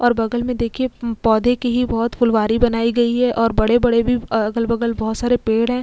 और बगल मे देखिए पौधे की ही बोहोत फुलवारी बनाई गई है और बड़े बड़े भी अगल-बगल बोहोत सारे पेड़ हैं।